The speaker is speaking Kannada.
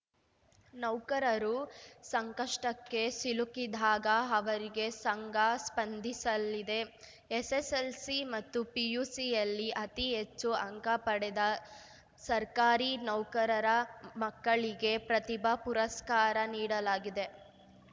ನೌಕರರು ಸಂಕಷ್ಟಕ್ಕೆ ಸಿಲುಕಿದಾಗ ಅವರಿಗೆ ಸಂಘ ಸ್ಪಂದಿಸಲಿದೆ ಎಸ್‌ಎಸ್‌ಎಲ್‌ಸಿ ಮತ್ತು ಪಿಯುಸಿಯಲ್ಲಿ ಅತಿ ಹೆಚ್ಚು ಅಂಕ ಪಡೆದ ಸರ್ಕಾರಿ ನೌಕರರ ಮಕ್ಕಳಿಗೆ ಪ್ರತಿಭಾ ಪುರಸ್ಕಾರ ನೀಡಲಾಗಿದೆ